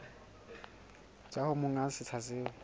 tswa ho monga setsha seo